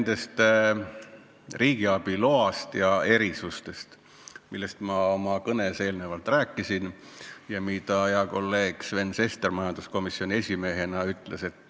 Jutt on riigiabi loast ja erisustest, millest ma oma kõnes rääkisin ja mida hea kolleeg Sven Sester majanduskomisjoni esimehena ka selgitas.